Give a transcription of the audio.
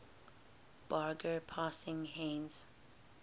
barge passing heinz